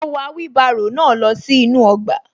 Mo wà wheelbarrow náà lọ sí inú ọgbà